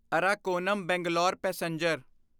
Arakkonam Bangalore passenger